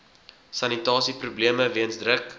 sanitasieprobleme weens druk